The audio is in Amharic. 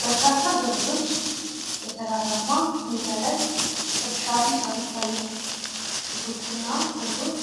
በርካታ ገበሬዎች በተራራማ ሜዳ ላይ እርሻ ሲሠሩ ይታያል። ሴቶችና ወንዶች